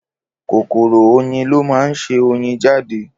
Kòkòrò oyin lọ máa ń ṣe oyin jáde